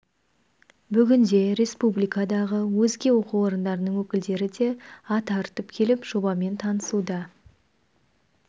бүгінде республикадағы өзге оқу орындарының өкілдері де ат арытып келіп жобасымен танысуда